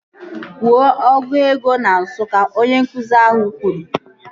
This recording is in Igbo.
Kwuo ọgụ ego na Nsụka! Onye nkụzi ahụ kwuru